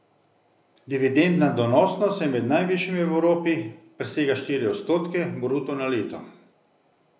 Dividendna donosnost je med najvišjimi v Evropi, presega štiri odstotke bruto na leto.